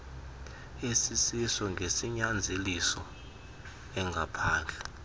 esisiso ngesinyanzeliso engaphandle